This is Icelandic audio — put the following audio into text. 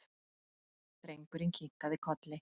Drengurinn kinkaði kolli.